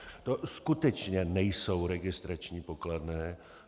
To skutečně nejsou registrační pokladny.